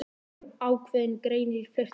Ákveðinn greinir í fleirtölu.